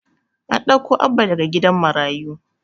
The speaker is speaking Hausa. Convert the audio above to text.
An ɗauko Abba daga gidan marayu.